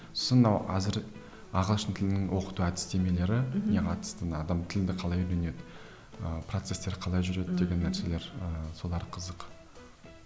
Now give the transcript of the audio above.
сосын мынау әзір ағылшын тілін оқыту әдістемелеріне қатысты адам тілді қалай үйренеді ыыы процестер қалай жүреді деген нәрселер ыыы солар қызық